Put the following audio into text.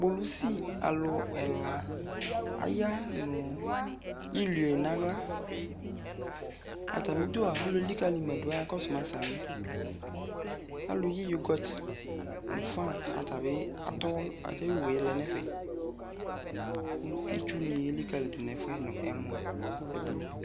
Kpolusi alu ɛla aya no ilue nahla Atame du alu elikale ma do m kalu yi yogɔt no fan atabe atɔ asɛ aye owue lɛ nefɛ ko itsu ne elikali do nɛfuɛ no ɛmɔ